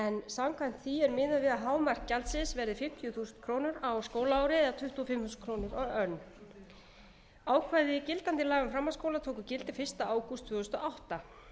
samkvæmt því er miðað við að hámarksgjaldið verði fimmtíu þúsund krónur á skólaári eða tuttugu og fimm þúsund krónur á önn ákvæði gildandi laga um framhaldsskóla tóku gildi fyrsta ágúst tvö þúsund og átta